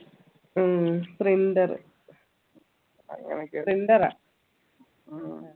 ഉം printer printer റാ